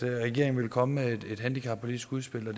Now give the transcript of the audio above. regeringen vil komme med et handicappolitisk udspil det